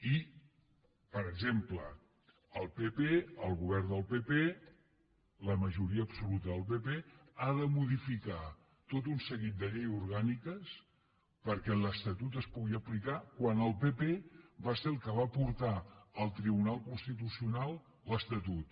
i per exemple el pp el govern del pp la majoria absoluta del pp ha de modificar tot un seguit de lleis orgàniques perquè l’estatut es pugui aplicar quan el pp va ser el que va portar al tribunal constitucional l’estatut